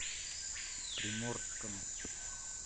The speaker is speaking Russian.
приморском